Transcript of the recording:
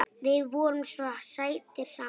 Þið voruð svo sætir saman.